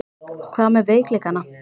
Hvað með veikleikana?